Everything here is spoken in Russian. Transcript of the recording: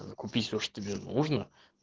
ээ купить все что тебе нужно